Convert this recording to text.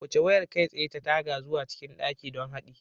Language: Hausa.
Wuce wayar kai tsaye ta taga zuwa cikin dakin don haɗi